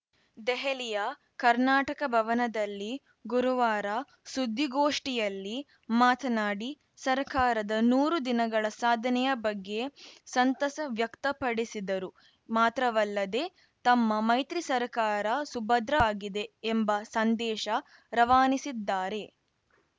ದೆಹಲಿಯ ಕರ್ನಾಟಕ ಭವನದಲ್ಲಿ ಗುರುವಾರ ಸುದ್ದಿಗೋಷ್ಠಿಯಲ್ಲಿ ಮಾತನಾಡಿ ಸರ್ಕಾರದ ನೂರು ದಿನಗಳ ಸಾಧನೆಯ ಬಗ್ಗೆ ಸಂತಸ ವ್ಯಕ್ತಪಡಿಸಿದರು ಮಾತ್ರವಲ್ಲದೇ ತಮ್ಮ ಮೈತ್ರಿ ಸರ್ಕಾರ ಸುಭದ್ರವಾಗಿದೆ ಎಂಬ ಸಂದೇಶ ರವಾನಿಸಿದ್ದಾರೆ